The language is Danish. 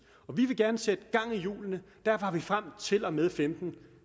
vi vil gerne sætte gang i hjulene og derfor har vi frem til og med og femten